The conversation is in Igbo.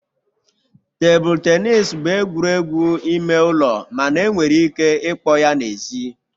Tebụl tenis bụ egwuregwu ime ụlọ mana enwere ike ịkpọ ya n'èzí